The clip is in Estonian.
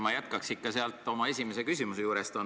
Ma jätkaks ikka sealt oma esimese küsimuse juurest.